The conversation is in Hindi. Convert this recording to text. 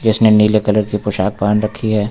जिसने नीले कलर की पोशाक पहन रखी है।